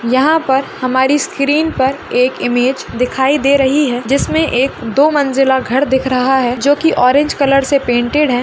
यहाँ पर हमारी स्क्रीन पर एक इमेज दिखाई दे रही है जिसमें एक दो मंजिला घर दिख रहा है जो कि ऑरेंज कलर से पेंटेड है।